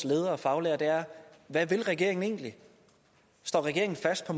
ledere og faglærere er hvad vil regeringen egentlig står regeringen fast på